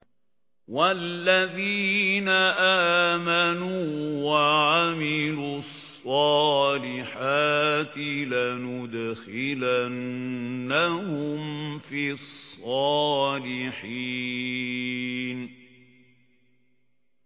وَالَّذِينَ آمَنُوا وَعَمِلُوا الصَّالِحَاتِ لَنُدْخِلَنَّهُمْ فِي الصَّالِحِينَ